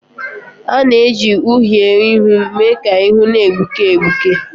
A na-eji uhiè ihu mee ka ihu na-egbuke egbuke